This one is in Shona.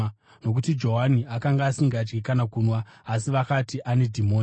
Nokuti Johani akanga asingadyi kana kunwa asi vakati, ‘Ane dhimoni.’